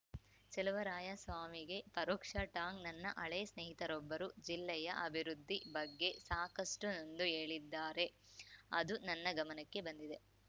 ಚಲುವರಾಯಸ್ವಾಮಿಗೆ ಪರೋಕ್ಷ ಟಾಂಗ್‌ ನನ್ನ ಹಳೇ ಸ್ನೇಹಿತರೊಬ್ಬರು ಜಿಲ್ಲೆಯ ಅಭಿವೃದ್ಧಿ ಬಗ್ಗೆ ಸಾಕಷ್ಟುನೊಂದು ಹೇಳಿದ್ದಾರೆ ಅದು ನನ್ನ ಗಮನಕ್ಕೆ ಬಂದಿದೆ